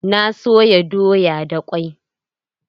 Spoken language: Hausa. Na soya doya da kwai.